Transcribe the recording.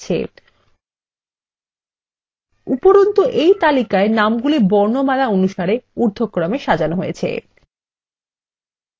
উপরন্তু এই তালিকায় নামগুলি বর্ণমালা অনুসারে ঊর্ধক্রমে সাজানো হয়েছে